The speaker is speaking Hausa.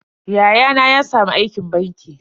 Yayana ya samu aikin banki.